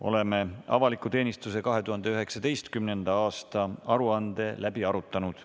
Oleme avaliku teenistuse 2019. aasta aruande läbi arutanud.